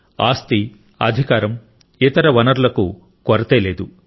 ఆస్తి అధికారం ఇతర వనరులకు కొరత లేదు